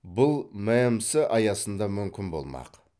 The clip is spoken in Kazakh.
бұл мәмс аясында мүмкін болмақ